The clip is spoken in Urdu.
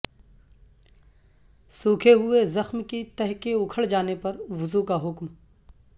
سوکھے ہوئے زخم کی تہہ کے اکھڑ جانے پر وضو کا حکم